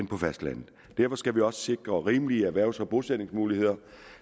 på fastlandet derfor skal vi også sikre rimelige erhvervs og bosætningsmuligheder